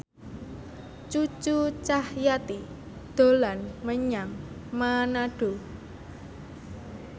Cucu Cahyati dolan menyang Manado